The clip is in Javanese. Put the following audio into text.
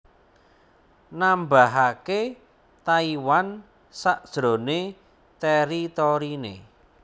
nambahake Taiwan sajrone teritorine